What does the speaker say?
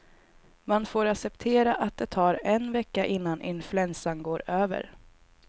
Man får acceptera att det tar en vecka innan influensan går över.